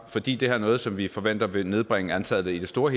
fordi det er noget som vi forventer vil nedbringe antallet i det store